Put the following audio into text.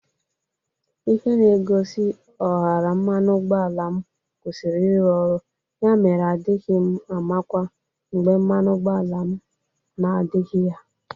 Ihe na-egosi ọhara mmanụ ụgbọala m kwusiri ịrụ ọrụ ya mere adịghị m amakwa mgbe mmanụ ụgbọala na-adịghị ya.